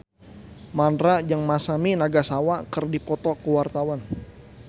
Mandra jeung Masami Nagasawa keur dipoto ku wartawan